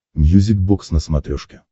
мьюзик бокс на смотрешке